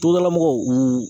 Togodalamɔgɔw u